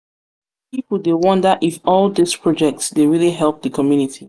pipo dey wonder if all dise projects dey really help di community.